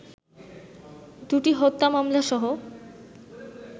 দুটি হত্যা মামলাসহ